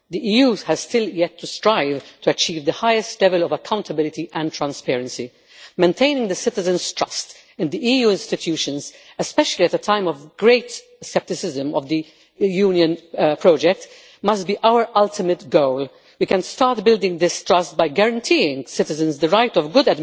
The EU has still to strive to achieve the highest level of accountability and transparency. Maintaining citizens' trust in the EU institutions, especially at a time of a great scepticism regarding the Union project, must be our ultimate goal. We can start building this trust by guaranteeing citizens the right to